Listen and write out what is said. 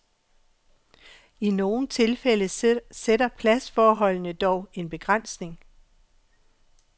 I nogle tilfælde sætter pladsforholdene dog en begrænsning.